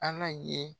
Ala ye